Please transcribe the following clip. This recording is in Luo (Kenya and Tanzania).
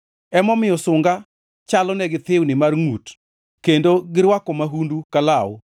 Emomiyo sunga chalonegi thiwni mar ngʼut, kendo girwako mahundu ka law.